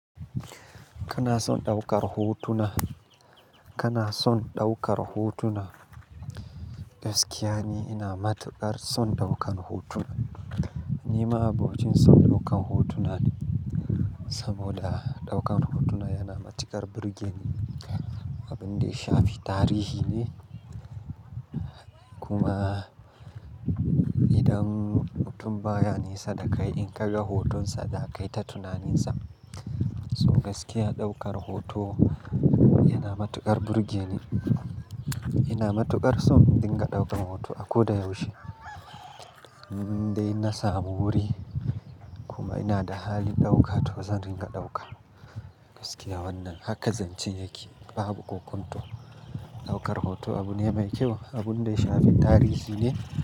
Kana son ɗaukar hotuna, kana son ɗaukar hotuna. Gaskiya ne ina matuƙar son ɗaukan hotuna. Nima ma'abocin son ɗaukan hotuna ne, saboda ɗaukan hotuna yana matuƙar burge ni. Abun da ya shafi tarihi ne kuma idan mutum baya nesa da kai in ka ga hotonsa za ka yi ta tunanin sa. So gaskiya ɗaukar hoto yana matuƙar burge ni. Ina matuƙar son in dinga ɗaukan hoto a ko da yaushe, indai na smu wuri kuma ina da halin ɗauka to zan ringa ɗauka. Gaskiya wannan haka zancen yake babu ƙoƙonto. Ɗaukar hoto abu ne mai kyau abun da ya shafi tarihi ne.